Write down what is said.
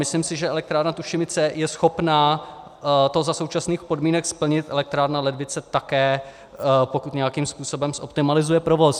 Myslím si, že elektrárna Tušimice je schopná to za současných podmínek splnit, elektrárna Ledvice také, pokud nějakým způsobem optimalizuje provoz.